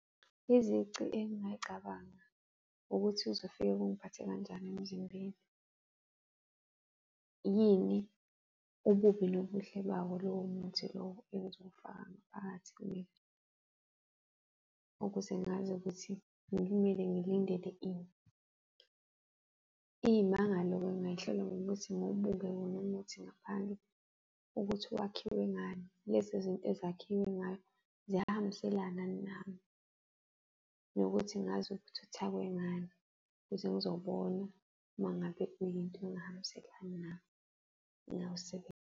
Izici engingayicabanga ukuthi kuzofika kungiphathe kanjani emzimbeni. Yini ububi nobuhle bawo lowo muthi lowo engizowufaka ngaphakathi kimina ukuze ngazi ukuthi ngimele ngilindele ini? Iy'mangalo-ke ngingayihlola ngokuthi ngiwubuke wona umuthi ngaphandle ukuthi wakhiwe ngani. Lezi zinto ezakhiwe ngayo, ziyahambiselana na? Nokuthi ngazi ukuthi uthakwe ngani ukuze ngizobona uma ngabe kuyinto engahambiselani nami .